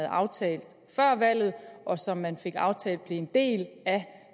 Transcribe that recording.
aftalt før valget og som man fik aftalt blev en del